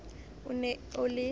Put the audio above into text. o ne o le o